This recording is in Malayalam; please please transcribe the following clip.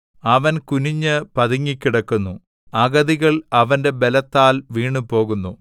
അവൻ കുനിഞ്ഞ് പതുങ്ങിക്കിടക്കുന്നു അഗതികൾ അവന്റെ ബലത്താൽ വീണുപോകുന്നു